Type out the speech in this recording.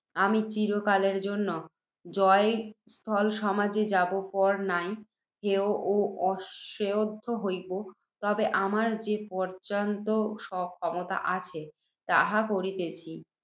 আমি, চিরকালের জন্য, জয়স্থল সমাজে যার পর নাই হেয় ও অশ্রদ্ধেয় হইব। তবে, আমার যে পর্য্যন্ত ক্ষমতা আছে, তাহা করিতেছি।